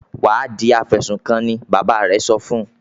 "Wà á di afẹ̀sùnkanni!" Bàbá rẹ̀ sọ fún un.